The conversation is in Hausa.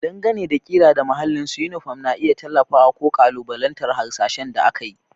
Dangane da ƙira da mahallin su, yunifom na iya tallafawa ko ƙalubalantar hasashen da aka yi.